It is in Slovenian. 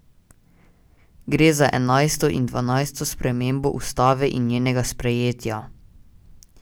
Gre za enajsto in dvanajsto spremembo ustave od njenega sprejetja.